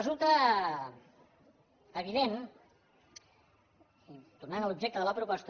resulta evident tornant a l’objecte de la proposta